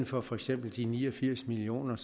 for for eksempel af de ni og firs million